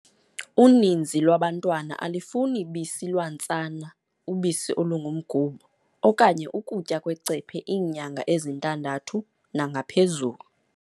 Uninzi lwabantwana alifuni bisi lwantsana, ubisi olungumgubo, okanye ukutya kwecephe iinyanga ezintandathu nangaphezulu.